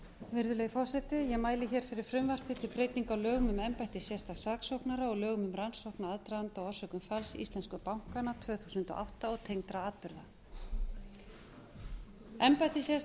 virðulegi forseti ég mæli fyrir frumvarpi um breytingu á lögum um embætti sérstaks saksóknara og lögum um rannsókna á aðdraganda og orsökum falls íslensku bankanna tvö þúsund og átta og tengdra atburða embætti